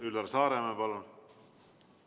Üllar Saaremäe, palun!